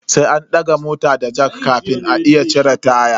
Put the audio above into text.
Sai an daga mota da jack kafin a iya cire taya.